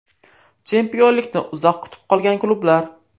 Chempionlikni uzoq kutib qolgan klublar.